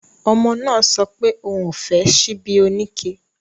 Ọmọ náà sọpé òun ò fẹ́ ṣíbí oníke